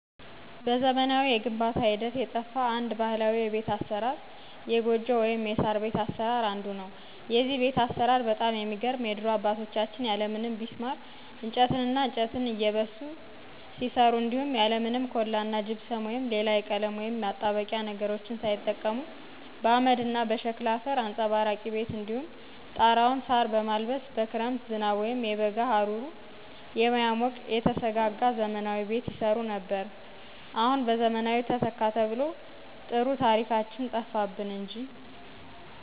በዘመናዊ የግንባታ ሂደት የጠፋ አንድ ባህላዊ የቤት አሰራር የጎጆ/የሳር/ቤት አሰራር አንዱ ነው። የዚህ ቤት አሰራር በጣም የሚገርም የድሮ አባቶቻችን ያለምንም ቢስማር እንጨትና እንጨት እየበሱ ሲሠሩ እንዲሁም ያለምንም ኮላ እና ጅብሰም ወይም ሌላ የቀለም ወይም የማጣበቂያ ነገሮችን ሳይጠቀሙ በአመድ እና በሸክላ አፈር አንፀባራቂ ቤት እንዲሁም ጣራውን ሳር በማልበስ በክረምት ዝናብ ወይም የበጋ ሀሩር የማያሞቀው የተሰጋጋ ዘመናዊ ቤት ይሰሩ ነበር። አሁን በዘመናዊ ተተካ ተብሎ ጥሩ ታሪካችን ጠፋብን እንጂ